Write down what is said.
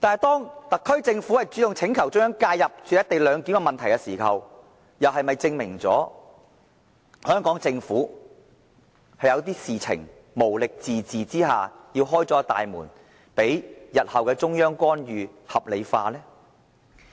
當特區政府主動要求政府介入"一地兩檢"的問題時，是否證明了香港政府在某些事情上無力自治，要打開大門，將日後中央的干預合理化？